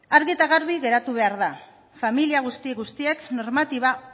argi eta garbi geratu behar da familia guzti guztiek normatiba